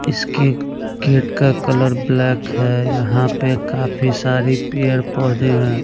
इसके ए गेट का कलर ब्लैक है यहां पे काफी सारी पेड़ पौधे हैं।